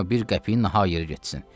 Qoyma bir qəpik nahaq yerə getsin.